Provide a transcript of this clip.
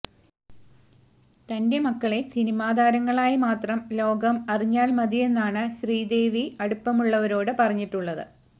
തന്റെ മക്കളെ സിനിമാ താരങ്ങളായി മാത്രം ലോകം അറിഞ്ഞാല് മതിയെന്നാണ് ശ്രീദേവി അടുപ്പമുള്ളവരോട് പറഞ്ഞിട്ടുള്ളത്